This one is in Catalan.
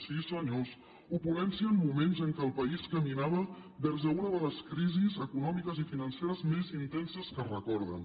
sí senyors opulència en moments en què el país caminava vers una de les crisis econòmiques i financeres més intenses que es recorden